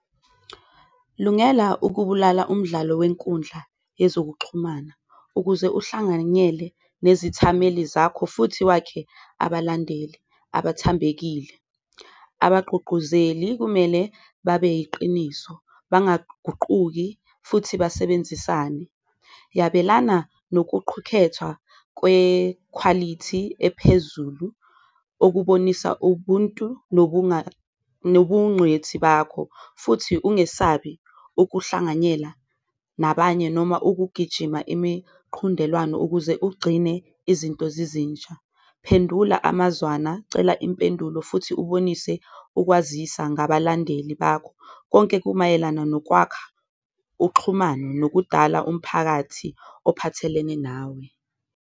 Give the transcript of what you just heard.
Lungela ukubulala umdlalo wenkundla yezokuxhumana ukuze uhlanganyele nezithameli zakho futhi wakhe abalandeli abathambekile, abagqugquzeli kumele babe iqiniso, bangaguquki futhi basebenzisane. Yabelana nokuqhukhethwa kwekhwalithi ephezulu okubonisa ubuntu nobuncwethi bakho, futhi ungesabi ukuhlanganyela nabanye noma ukugijima imiqhundelwano ukuze ugcine izinto zizintsha. Phendula amazwana, cela impendulo futhi ubonise ukwazisa ngabalandeli bakho, konke kumayelana nokwakha uxhumano nokudala umphakathi ophathelene nawe.